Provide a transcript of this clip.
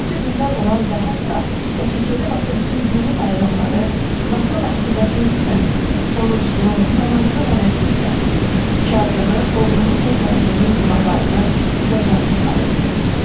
Qatı dindar olan və hətta SSRİ vaxtı bütün dini bayramları vaxtlı-vaxtında qeyd edən, oruclu, namazlı nənəsi isə Kazımı oğlunun və gəlininin günahlarından cəzası sayırdı.